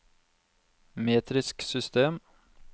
metrisk system